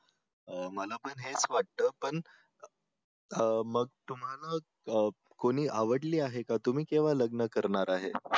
अं मला पण हेच वाटत पण अं मग तुम्हाला अं कोणी आवडली आहे का तुम्ही केव्हा लग्न करणार आहे